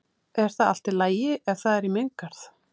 Er það allt í lagi ef það er í minn garð?